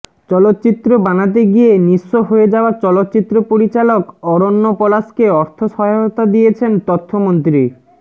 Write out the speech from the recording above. চলচ্চিত্র বানাতে গিয়ে নিঃস্ব হয়ে যাওয়া চলচ্চিত্র পরিচালক অরণ্য পলাশকে অর্থ সহায়তা দিয়েছেন তথ্যমন্ত্রী